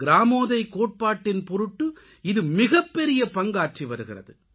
கிராமோதய் கோட்பாட்டின் பொருட்டு இது மிகப்பெரிய பங்காற்றிவருகிறது